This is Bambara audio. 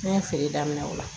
Ne ye feere daminɛ o la